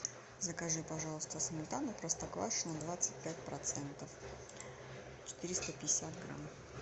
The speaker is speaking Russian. закажи пожалуйста сметану простоквашино двадцать пять процентов четыреста пятьдесят грамм